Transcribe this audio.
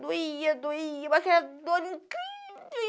Doía, doía, com aquela dor incrível.